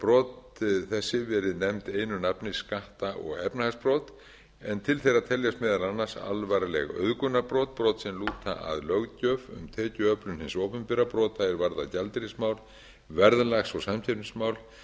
brot þessi verið nefnd einu nafni skatta og efnahagsbrot en til þeirra teljast meðal annars alvarleg auðgunarbrot brot sem lúta að löggjöf hins opinbera brota er varða gjaldeyrismál verðlag og samkeppnismál